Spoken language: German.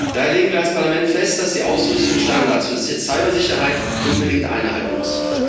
Daher legen wir als Parlament fest, dass die Ausrüstung Standards für Cybersicherheit unbedingt einhalten muss.